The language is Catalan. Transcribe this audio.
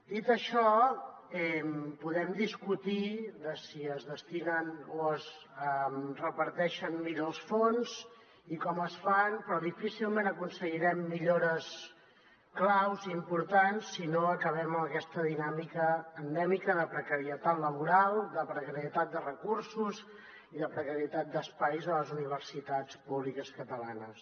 dit això podem discutir si es destinen o es reparteixen millor els fons i com es fa però difícilment aconseguirem millores claus i importants si no acabem amb aquesta dinàmica endèmica de precarietat laboral de precarietat de recursos i de precarietat d’espais a les universitats públiques catalanes